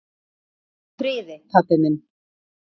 Hvíldu í friði, pabbi minn.